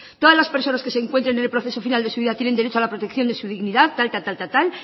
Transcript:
todas las personas que se encuentren en el proceso final de su vida tienen derecho a la protección de su dignidad tal tal tal